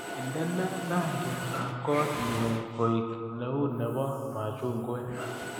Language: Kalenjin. Indene rangyatab koot nio koek neunebo machungwek